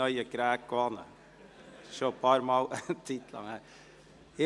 Schliesslich muss man sich immer wieder an die Geräte gewöhnen.